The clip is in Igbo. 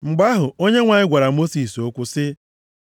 Mgbe ahụ, Onyenwe anyị gwara Mosis okwu sị ya,